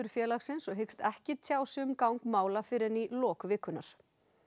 félagsins og hyggst ekki tjá sig um gang mála fyrr en í lok vikunnar